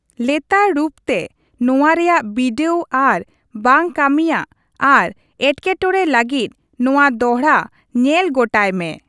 ᱞᱮᱛᱟᱲ ᱨᱩᱯᱛᱮ ᱱᱚᱣᱟ ᱨᱮᱭᱟᱜ ᱵᱤᱰᱟᱹᱣ ᱟᱨ ᱵᱟᱝ ᱠᱟᱹᱢᱤᱭᱟᱜ ᱟᱨ ᱮᱴᱠᱮᱴᱚᱬᱮ ᱞᱟᱹᱜᱤᱫ ᱱᱚᱣᱟ ᱫᱚᱦᱲᱟ ᱧᱮᱞ ᱜᱚᱴᱟᱭ ᱢᱮ ᱾